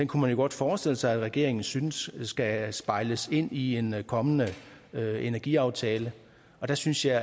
kunne man jo godt forestille sig at regeringen synes skal spejles ind i en kommende energiaftale der synes jeg